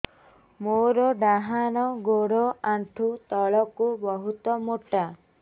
ମୋର ଡାହାଣ ଗୋଡ ଆଣ୍ଠୁ ତଳୁକୁ ବହୁତ ମୋଟା